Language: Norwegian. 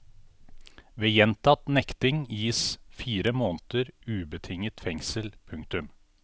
Ved gjentatt nekting gis fire måneder ubetinget fengsel. punktum